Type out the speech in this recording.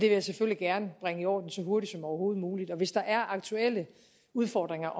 jeg selvfølgelig gerne bringe i orden så hurtigt som overhovedet muligt og hvis der er aktuelle udfordringer